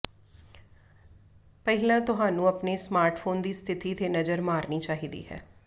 ਪਹਿਲਾਂ ਤੁਹਾਨੂੰ ਆਪਣੇ ਸਮਾਰਟਫੋਨ ਦੀ ਸਥਿਤੀ ਤੇ ਨਜ਼ਰ ਮਾਰਨੀ ਚਾਹੀਦੀ ਹੈ